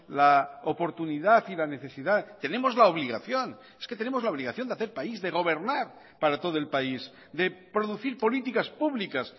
la oportunidad y la necesidad tenemos la obligación es que tenemos la obligación de hacer país de gobernar para todo el país de producir políticas públicas